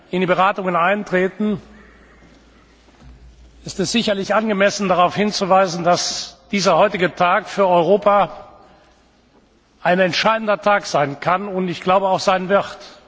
wir in die Beratungen eintreten, ist es sicherlich angemessen darauf hinzuweisen, dass der heutige Tag für Europa ein entscheidender Tag sein kann und auch sein wird.